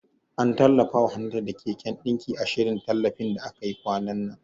An tallafawa Hannatu da keken ɗinki, a shirin tallafin da aka yi kwanan nan.